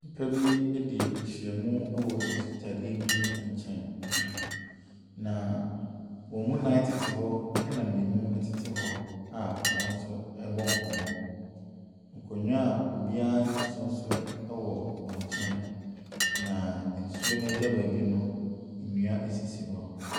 Nnipa bi adi ahyiam wɔ nsutadeɛ bi nkyɛn, na wɔn mu nnan tete hɔ, ɛnna mmienu tete hɔ a wɔn nso rebɔ nkɔmmɔ. Nkonnwa a obiara nte so nso wɔ wɔn nkyɛn, na nsuo no agya baabi no, nnua sisi hɔ.